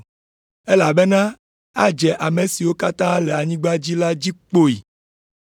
Elabena adze ame siwo katã le anyigba dzi la dzi kpoyi.